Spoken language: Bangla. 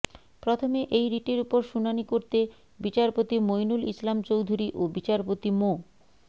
প্রথমে এই রিটের ওপর শুনানি করতে বিচারপতি মইনুল ইসলাম চৌধুরী ও বিচারপতি মো